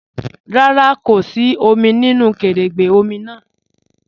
Rárá, kò sí òmì nínu kẹrẹ́gbẹ̀ òmì náà.